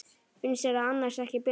Finnst þér annars ekki bjart?